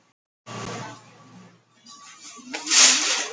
Jú, ég býst við því, svaraði ég.